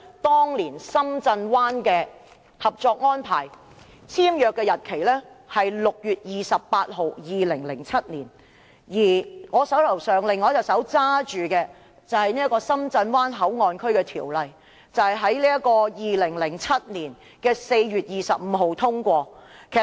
當年深圳灣的合作安排，簽約日期是2007年6月28日，而《深圳灣口岸港方口岸區條例草案》是在2007年4月25日通過的。